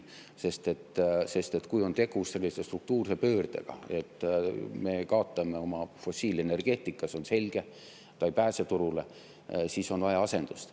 Sest kui on tegu sellise struktuurse pöördega, et me kaotame oma fossiilenergeetika – see on selge, ta ei pääse turule –, siis on vaja asendust.